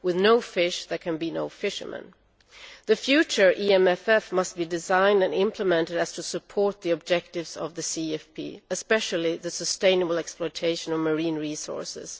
With no fish there can be no fishermen. The future EMFF must be designed and implemented in order to support the objectives of the CFP, especially the sustainable exploitation of marine resources.